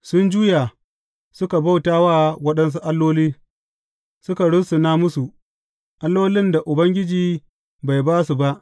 Sun juya, suka bauta wa waɗansu alloli, suka rusuna musu, allolin da ba su sani ba, allolin da Ubangiji bai ba su ba.